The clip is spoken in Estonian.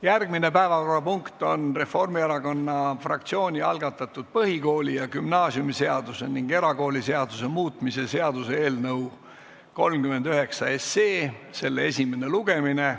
Järgmine päevakorrapunkt on Reformierakonna fraktsiooni algatatud põhikooli- ja gümnaasiumiseaduse ning erakooliseaduse muutmise seaduse eelnõu 39 esimene lugemine.